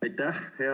Aitäh!